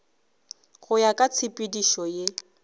go ya ka tshepedišo ye